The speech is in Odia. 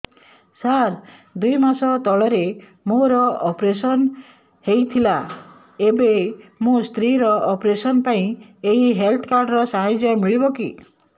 ସାର ଦୁଇ ମାସ ତଳରେ ମୋର ଅପେରସନ ହୈ ଥିଲା ଏବେ ମୋ ସ୍ତ୍ରୀ ର ଅପେରସନ ପାଇଁ ଏହି ହେଲ୍ଥ କାର୍ଡ ର ସାହାଯ୍ୟ ମିଳିବ କି